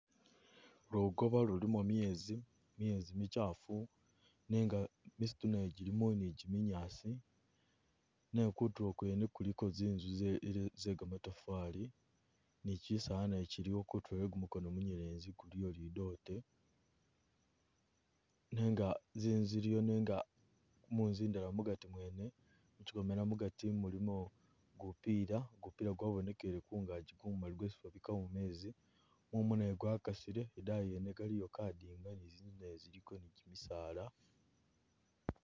Lugoba lulimo myezi, myezi michafu nenga misiitu najo jilimu ni ji'minyaasi nenga kutulo kwene kuliko zinzu zele ze gamatafali ni chisaala nakyo kyiliwo kutulo gwe kumukono gumunyelezi kuliyo lidote nenga zinzu ziliyo nenga munzu indala mugati mwene muchikomela mugati mulimo gupira, gupira gwabonekele kangaji gumali gwesi babikamo mezi, mumu nagwo gwakasile, idayi yene kaliyo kadinga ni zindeyi ziliyo ni kymisaala